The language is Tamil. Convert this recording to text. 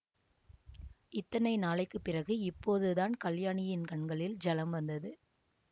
இத்தனை நாளைக்கு பிறகு இப்போது தான் கல்யாணியின் கண்களில் ஜலம் வந்தது